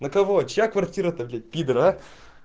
на кого чья квартира то пидоры а